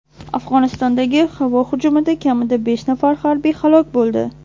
Afg‘onistondagi havo hujumida kamida besh nafar harbiy halok bo‘ldi.